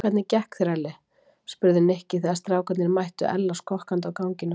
Hvernig gekk þér Elli? spurði Nikki þegar strákarnir mættu Ella skokkandi á ganginum.